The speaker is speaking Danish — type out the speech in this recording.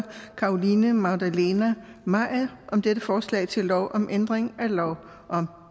carolina magdalene maier om dette forslag til lov om ændring af lov om